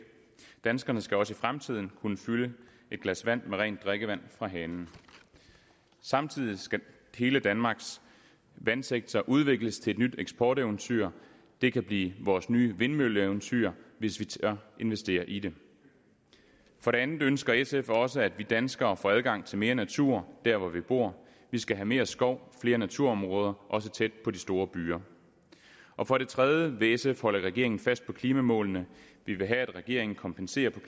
danskerne skal også i fremtiden kunne fylde et glas med rent drikkevand fra hanen samtidig skal hele danmarks vandsektor udvikles til et nyt eksporteventyr det kan blive vores nye vindmølleeventyr hvis vi tør investere i det for det andet ønsker sf også at vi danskere får adgang til mere natur der hvor vi bor vi skal have mere skov flere naturområder også tæt på de store byer og for det tredje vil sf holde regeringen fast på klimamålene vi vil have at regeringen kompenserer på